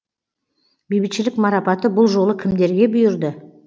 бейбітшілік марапаты бұл жолы кімдерге бұйырды